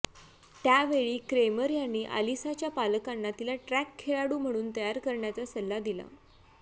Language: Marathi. त्यावेळी क्रेमर यांनी अलिसाच्या पालकांना तिला ट्रॅक खेळाडू म्हणून तयार करण्याचा सल्ला दिला